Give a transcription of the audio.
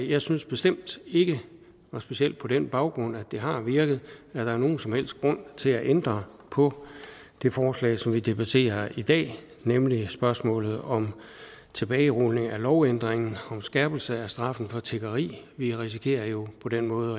jeg synes bestemt ikke og specielt på den baggrund at det har virket at der er nogen som helst grund til at ændre på det forslag som vi debatterer i dag nemlig spørgsmålet om tilbagerulning af lovændringen om skærpelse af straffen for tiggeri vi risikerer jo på den måde